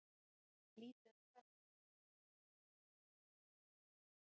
Lítið um færi en þó einhver.